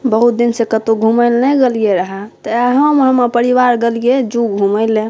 बहुत दिन से कतो घुमे ला नै गेलिओ हे त एहो में हमर परिवार गेलिये ज़ू घुमे ला।